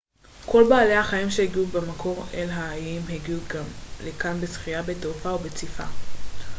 כל בעלי החיים שהגיעו במקור אל האיים הגיעו לכאן בשחייה בתעופה או בציפה